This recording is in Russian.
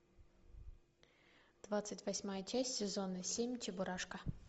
двадцать восьмая часть сезона семь чебурашка